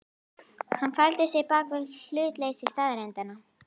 Hann faldi sig bak við hlutleysi staðreyndanna.